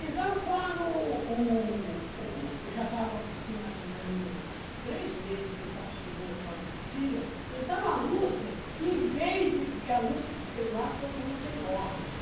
Então, quando o o eu já estava, assim, mais ou menos, três meses que eu estava estudando aquela cartilha, então a Lúcia, em vez de... Porque a Lúcia, lá todo mundo tem ordem.